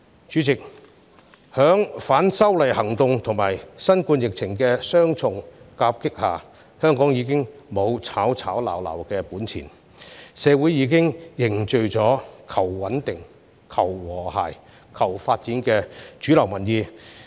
主席，在反修例運動和新冠疫情的雙重夾擊下，香港已經沒有吵吵鬧鬧的本錢，社會已經凝聚了求穩定、求和諧、求發展的主流民意。